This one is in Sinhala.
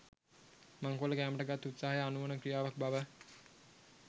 මංකොල්ල කෑමට ගත් උත්සාහය අනුවණ ක්‍රියාවක් බව